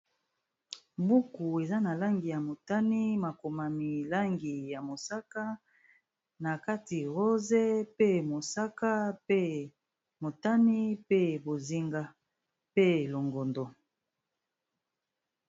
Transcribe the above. Buku eza na langi ya motani, makomami langi ya mosaka, na kati rose pe mosaka pe motani, pe bozinga pe longondo.